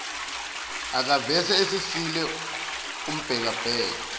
akaseve esisizile ambhekabheke